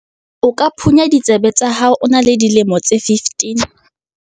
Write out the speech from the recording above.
O ka phunya ditsebe tsa hao ha o na le dilemo tse 15.